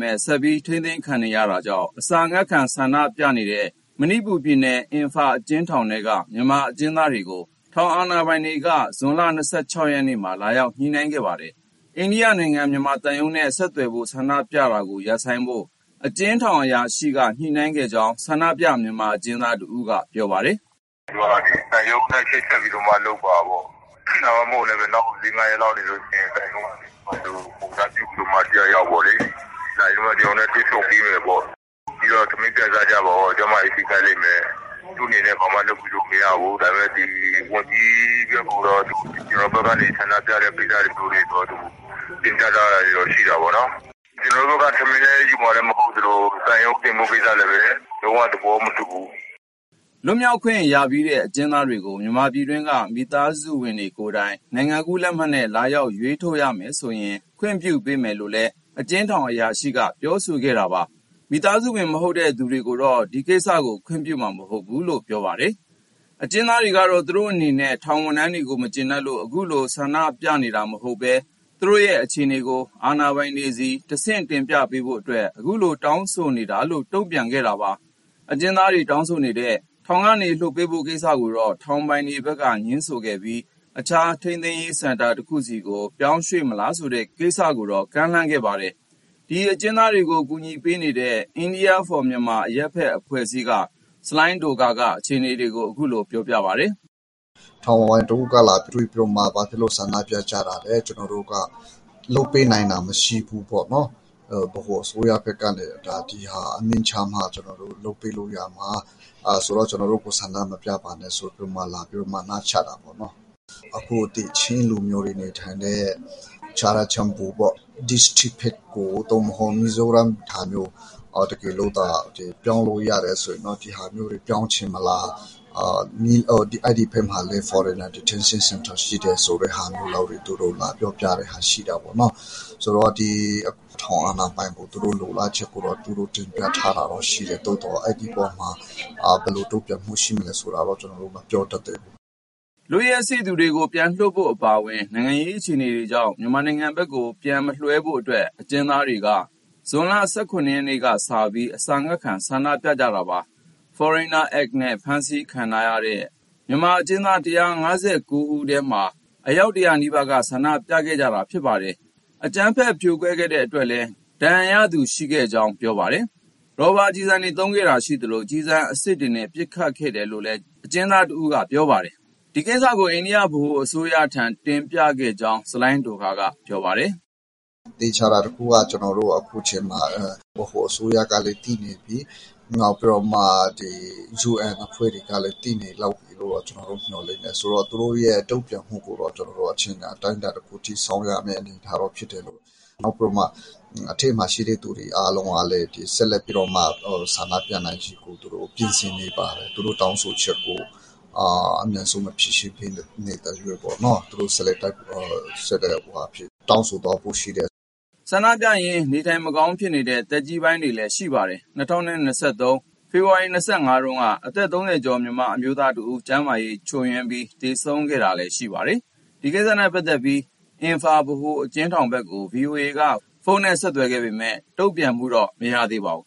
မဲ့ ဆက်ပြီး ထိန်းသိမ်းခံနေရတာကြောင့် အစာအငတ်ခံဆန္ဒပြနေတဲ့ မဏိပူပြည်နယ်၊ အင်ဖာအကျဉ်းထောင်ထဲက မြန်မာအကျဉ်းသားတွေကို ထောင်အာဏာပိုင်တွေက ဒီနေ့ ဇွန်လ၂၆ ရက်မှာ လာရောက်ညှိနှိုင်းခဲ့ပါတယ်။ အိန္ဒိယနိုင်ငံ မြန်မာသံရုံးနဲ့ဆက်သွယ်ဖို့၊ ဆန္ဒပြတာကိုရပ်ဆိုင်းဖို့ အကျဉ်းထောင်အရာရှိက ညှိနှိုင်းခဲ့ကြောင်း ဆန္ဒပြ မြန်မာအကျဉ်းသားတဦးက ပြောပါတယ်။ "သူတို့က သံရုံးနဲ့ချိတ်ဆက်ပြီးတော့မှ လုပ်ပါပေါ့၊ ဒါမှမဟုတ်လည်း နောက်လေးငါးရက်လောက်နေရင် သံရုံးကနေ ကိုယ်စားပြုပြီးမှ တယောက်ယောက် လာပြီး ကျနော်တို့နဲ့ တွေ့ဆုံပေးမယ်ပေါ့။ ပြီးတော့ ထမင်းချက်စားကြပါပေါ့၊ ကျန်းမာရေး ထိခိုက်လိမ့်မယ်၊ သူ့အနေနဲ့ ဘာမှလုပ်ပေးလို့မရဘူး၊ ဒါပေမဲ့ ဝန်ကြီးအတွက်ကိုတော့ ကျနော်တို့ဘက်ကနေ ဆန္ဒပြမှုကိစ္စကိုတင်ပြထားတာတော့ ရှိတာပေါ့နော်။ ကျနော်တို့က ထမင်းလည်းယူမှာလည်းမဟုတ်သလို သံရုံးတင်ဖို့ကိစ္စလည်း လုံးဝသဘောမတူဘူး။" လွတ်မြောက်ခွင့်ရပြီးတဲ့ အကျဉ်းသားတွေကို မြန်မာပြည်တွင်းက မိသားစုဝင်တွေကိုယ်တိုင် နိုင်ငံကူးလက်မှတ်နဲ့ လာရောက်ရွေးထုတ်ရမယ်ဆိုရင် ခွင့်ပြုပေးမယ်လို့လည်း အကျဉ်းထောင်အရာရှိက ပြောဆိုခဲ့တာပါ။ မိသားစုဝင်မဟုတ်တဲ့သူတွေကိုတော့ ဒီကိစ္စကို ခွင့်ပြုမှာမဟုတ်ဘူးလို့လည်း ပြောပါတယ်။ အကျဉ်းသားတွေကတော့ သူတို့အနေနဲ့ ထောင်ဝန်ထမ်းတွေကိုမကျေနပ်လို့ အခုဆန္ဒပြနေတာမဟုတ်ဘဲ သူတို့ရဲ့အခြေအနေကို အာဏာပိုင်တွေဆီ တဆင့်တင်ပြပေးဖို့အတွက် အခုလို တောင်းဆိုနေတာလို့ တုံ့ပြန်ခဲ့တာပါ။ အကျဉ်းသားတွေတောင်းဆိုနေတဲ့ ထောင်ကနေလွှတ်ပေးဖို့ကိစ္စကိုတော့ ထောင်ပိုင်ဘက်ကငြင်းဆိုခဲ့ပြီး အခြား ထိန်းသိမ်းရေး စင်တာတခုဆီကို ပြောင်းရွှေ့မလားဆိုတဲ့ ကိစ္စကိုတော့ကမ်းလှမ်းခဲ့ပါတယ်။ ဒီအကျဉ်းသားတွေကို ကူညီပေးနေတဲ့ India for Myanmar အရပ်ဘက်ကအဖွဲ့က ဆလိုင်းဒိုခါရ်က အခြေအနေကို အခုလိုပြောပါတယ်။ "ထောင်အာဏာပိုင်တဦးက လာတွေ့ပြီးတော့မှ ဘာဖြစ်လို့ဆန္ဒပြကြတာလဲ ကျနော်တို့က လုပ်ပေးနိုင်တာ မရှိဘူးပေါ့နော်၊ ဗဟိုအစိုးရကအမိန့်ချမှ ကျနော်တို့ လုပ်ပေးလို့ရမှာ။ အဲဒါမို့ ကျနော်တို့ကိုဆန္ဒမပြပါနဲ့ဆိုပြီး လာနားချတာပေါ့။ အခု ချင်းလူမျိုးတွေနေထိုင်တဲ့ ချာရာချန်ပူပေါ့ ဘက်ကို သို့မဟုတ် မီဇိုရမ်ဟာမျိုး တကယ်လို့သာ ပြောင်းလို့ရမယ်ဆို ပြောင်းချင်မလား၊ အဲဒီဘက်မှာလည်း foreigner detention center ရှိတယ်ဆိုတဲ့ဟာမျိုးလောက် သူတို့လာပြောပြတာရှိတယ်။ ဆိုတော့ ထောင်အာဏာပိုင်ကို သူတို့လိုလားချက်ကို တင်ပြထားတာတော့ရှိတယ်၊ သို့သော် အဲဒီအပေါ်မှာ ဘယ်လိုတုံ့ပြန်မှု ရှိမလဲဆိုတာတော့ ကျနော်တို့ မပြောတတ်သေးဘူး။" လွတ်ရက်စေ့သူတွေကို ပြန်လွှတ်ဖို့အပါအဝင် နိုင်ငံရေးအခြေအနေကြောင့် မြန်မာနိုင်ငံဘက်ကို ပြန်မလွှဲဖို့အတွက် အကျဉ်းသားတွေက ဇွန်လ ၁၇ ရက်ကစပြီး အစာအငတ်ခံ ဆန္ဒပြခဲ့ကြတာပါ။ Foreigner Act နဲ့ ဖမ်းဆီးခံထားရတဲ့ မြန်မာအကျဉ်းသား ၁၅၉ ယောက်ထဲမှာ အယောက် ၁၀၀ နီးပါးက ဆန္ဒပြခဲ့ကြတာပါ။ အကြမ်းဖက်ဖြိုခွင်းခဲ့တဲ့ အတွက်လည်း ဒဏ်ရာရခဲ့သူတွေရှိကြောင်း ပြောပါတယ်။ ရော်ဘာကျည်သုံးခဲ့တာရှိသလို ကျည်အစစ်နဲ့လည်း ပစ်ခတ်ခဲ့တယ်လို့ အကျဉ်းသားတဦးက ပြောပါတယ်။ ဒီကိစ္စတွေကို အိန္ဒိယ ဗဟိုအစိုးရဆီတင်ပြခဲ့ကြောင်း ဆလိုင်းဒိုခါရ်က ပြောပါတယ်။ "သေချာတာတခုကတော့ ကျနော်တို့ အခုအချိန်မှာ ဗဟိုအစိုးရကလည်း သိနှင့်ပြီ။ နောက် UN အဖွဲ့တွေကလည်း သိနေလောက်ပြီလို့ ကျနော်တို့မျှော်လင့်တယ်။ ဆိုတော့ သူတို့ရဲ့တုံ့ပြန်မှုကိုတော့ အချိန်အတိုင်းအတာတခု စောင့်ရမဲ့ အနေအထားတော့ဖြစ်တယ်။ နောက်ပြီး အထဲမှာရှိတဲ့သူတွေ အားလုံးကလည်း ဆက်လက် ဆန္ဒပြနိုင်ဖို့ ပြင်ဆင်နေပါတယ်။ သူတို့တောင်းဆိုချက်ကို အမြန်ဆုံး မဖြေရှင်းသရွေ့ပေါ့နော် ဆက်လက် တောင်းဆိုသွားဖို့ ရှိတယ်။" ဆန္ဒပြရင်း နေထိုင်မကောင်းဖြစ်နေတဲ့ သက်ကြီးပိုင်းတွေလည်း ရှိပါတယ်။ ၂၀၂၃၊ ဖေဖော်ဝါရီလ ၂၅ က အသက် ၃၀ ကျော် မြန်မာအမျိုးသားတဦး ကျန်းမာရေးချွတ်ယွင်းပြီး သေဆုံးခဲ့တာလည်း ရှိပါတယ်။ ဒီကိစ္စတွေနဲ့ပတ်သက်ပြီး အင်ဖာဗဟိုအကျဉ်းထောင်ဘက်ကို ဗွီအိုအေက ဖုန်းနဲ့ဆက်သွယ်ခဲ့ပေမဲ့ တုံ့ပြန်မှုတော့ မရခဲ့ပါဘူး